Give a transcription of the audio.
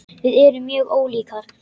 Við erum mjög ólíkar.